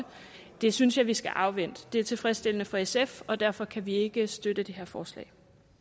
det synes jeg vi skal afvente det er tilfredsstillende for sf og derfor kan vi ikke støtte det her forslag